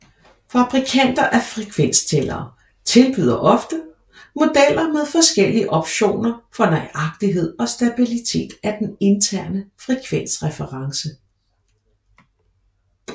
Fabrikanter af frekvenstællere tilbyder ofte modeller med forskellige optioner for nøjagtighed og stabilitet af den interne frekvensreference